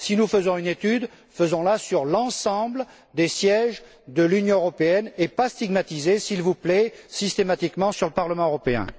Si nous faisons une étude, faisons la sur l'ensemble des sièges de l'Union européenne, sans stigmatiser, s'il vous plaît, systématiquement le Parlement européen.